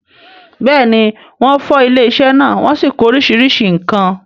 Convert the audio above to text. bẹ́ẹ̀ni, wọ́n fọ́ ilé-isẹ́ náà wọ́n sì kó oríṣiríṣi nǹkan.